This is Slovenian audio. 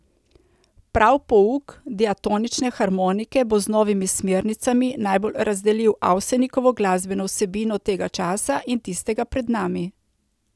Prav pouk diatonične harmonike bo z novimi smernicami najbolj razdelil Avsenikovo glasbeno vsebino tega časa in tistega pred nami.